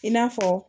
I n'a fɔ